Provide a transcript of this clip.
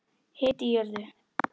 Hiti í jörðu